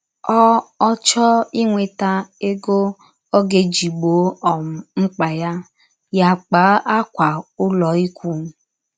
Ọ Ọ chọọ inweta egọ ọ ga - eji gbọọ um mkpa ya, ya akpaa ákwà ụlọikwụụ.